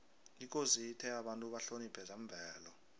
ikosi ithe abantu bahloniphe zemvelo